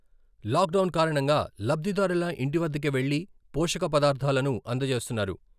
Lock down కారణంగా లబ్ధిదారుల ఇంటి వద్దకే వెళ్లి పోషక పదార్థాలను అందజేస్తున్నారు.